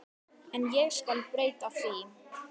En ég skal breyta því.